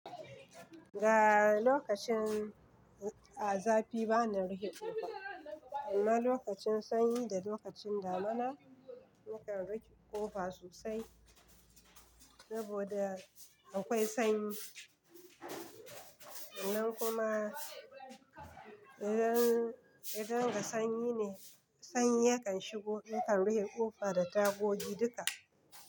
Ga lokacin, a zafi bana rihe ƙofa. Amma lokacin sanyi da lokacin damuna, nakan rife ƙofa sosai saboda akwai sanyi. Nan kuma idan, idan ga sanyi ne, sanyi yakan shigo. Nakan rihe ƙofa da tagogi duka.